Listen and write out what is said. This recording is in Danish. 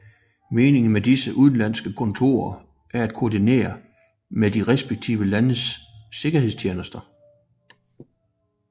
Meningen med disse udenlandske kontorer er at koordinere med de respektive landes sikkerhedstjenester